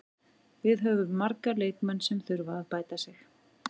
Við höfum marga leikmenn sem þurfa að bæta sig.